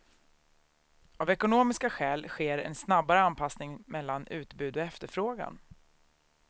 Av ekonomiska skäl sker en snabbare anpassning mellan utbud och efterfrågan.